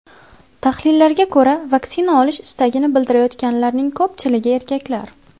Tahlillarga ko‘ra, vaksina olish istagini bildirayotganlarning ko‘pchiligi erkaklar.